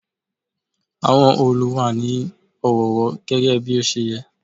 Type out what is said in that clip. Àwọn òòlù wà ní ọ̀wọ̀ọ̀wọ́ gẹ́gẹ́ bí ó ṣe yẹ.